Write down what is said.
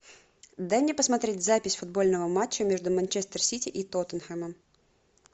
дай мне посмотреть запись футбольного матча между манчестер сити и тоттенхэмом